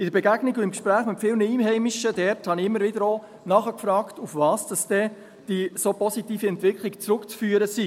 In der Begegnung und im Gespräch mit vielen Einheimischen dort habe ich immer wieder auch nachgefragt, auf was die so positive Entwicklung zurückzuführen sei.